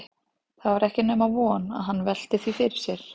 Það var ekki nema von að hann velti því fyrir sér.